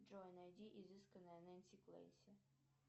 джой найди изысканная нэнси клэнси